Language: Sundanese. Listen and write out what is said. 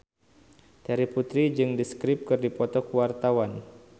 Terry Putri jeung The Script keur dipoto ku wartawan